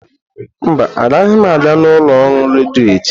Mba, agaghị m aga ụlọ ọrụ redio echi.